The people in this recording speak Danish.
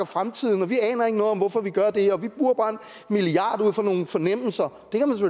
fremtiden og vi aner ikke noget om hvorfor vi gør det og vi bruger bare en milliard kroner ud fra nogle fornemmelser